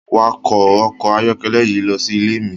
Wakọ ọkọ ayọkẹlẹ yii losi ile mi!